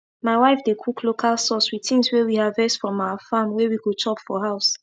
my wife dey cook local sauce with things wey we harvest from our farm wey we go chop for house